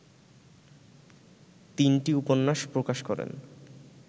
তিনটি উপন্যাস প্রকাশ করেন